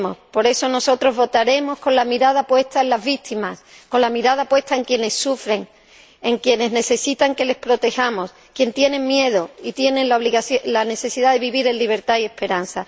Por eso, nosotros votaremos con la mirada puesta en las víctimas, con la mirada puesta en quienes sufren, en quienes necesitan que les protejamos, en quienes tienen miedo y tienen la necesidad de vivir en libertad y esperanza.